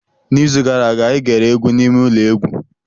N'izu gara aga, anyị gere egwu n'ime ụlọ egwu.